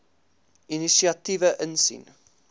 inisiatiewe insien